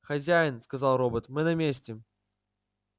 хозяин сказал робот мы на месте